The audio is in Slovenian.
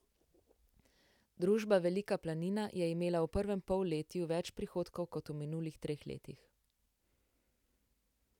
Družba Velika planina je imela v prvem polletju več prihodkov kot v minulih treh letih.